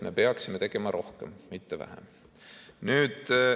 Me peaksime tegema rohkem, mitte vähem.